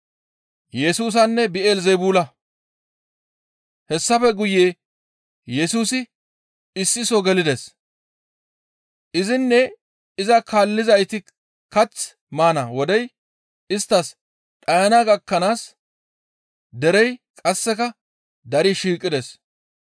Hessafe guye Yesusi issi soo gelides. Izinne iza kaallizayti kath maana wodey isttas dhayana gakkanaas derey qasseka dari shiiqides.